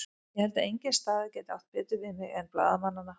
Ég held að engin staða gæti átt betur við mig en blaðamannanna.